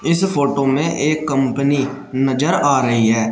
इस फोटो में एक कंपनी नजर आ रही है।